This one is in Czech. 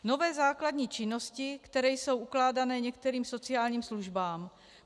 Nové základní činnosti, které jsou ukládány některým sociálním službám.